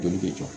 Joli bɛ jɔ